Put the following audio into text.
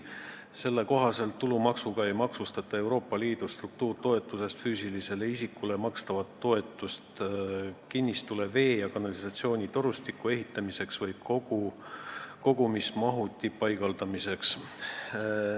Selle kohaselt ei maksustata tulumaksuga Euroopa Liidu struktuuritoetusest füüsilisele isikule makstavat toetust kinnistule vee- ja kanalisatsioonitorustiku ehitamiseks või kogumismahuti paigaldamiseks.